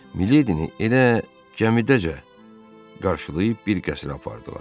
Miledini elə gəmidəcə qarşılayıb bir qəsrə apardılar.